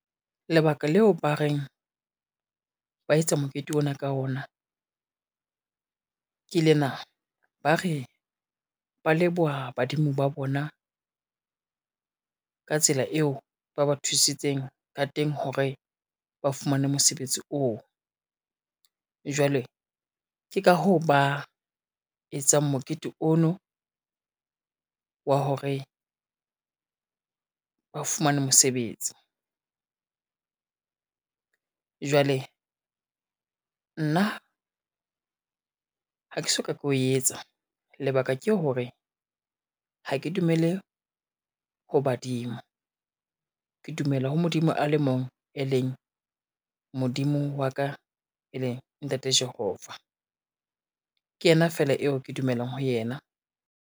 Lebaka leo ba reng ba etsa mokete ona ka wona, ke le na, ba re ba leboha badimo ba bona, ka tsela eo ba ba thusitseng ka teng hore ba fumane mosebetsi oo. Jwale ke ka hoo ba etsang mokete o no wa hore ba fumane mosebetsi. Jwale nna ha ke soka ke o etsa lebaka ke hore, ha ke dumele ho badimo, ke dumela ho Modimo a le mong, e leng Modimo wa ka e leng ntate Jehova. Ke yena fela eo ke dumelang ho yena.